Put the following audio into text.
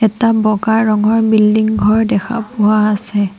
এটা বগা ৰঙৰ বিল্ডিং ঘৰ দেখা পোৱা আছে।